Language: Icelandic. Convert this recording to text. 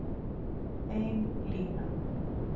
Bein lína